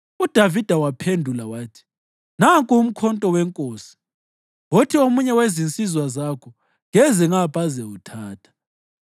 UDavida waphendula wathi, “Nanku umkhonto wenkosi. Wothi omunye wezinsizwa zakho keze ngapha azewuthatha.